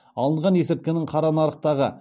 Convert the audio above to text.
алынған есірткінің қара нарықтағы